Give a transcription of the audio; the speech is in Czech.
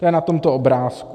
To je na tomto obrázku.